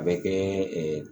A bɛ kɛ